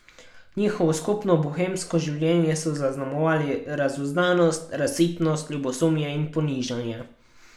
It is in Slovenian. Njihovo skupno bohemsko življenje so zaznamovali razuzdanost, razsipnost, ljubosumje in ponižanje.